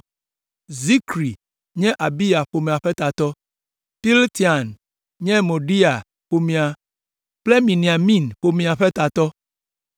Zikri nye Abiya ƒomea ƒe tatɔ, Piltain nye Moadia ƒomea kple Miniamin ƒomea ƒe tatɔ,